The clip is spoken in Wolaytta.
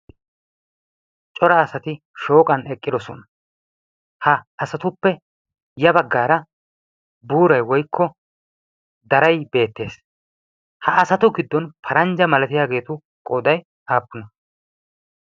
Cora asati shooqan eqqidosona. Ha asatuppe ya baggaara buuray woykko daray beettees. Ha asatu giddon paranjja malatiyage etu qooday appunne?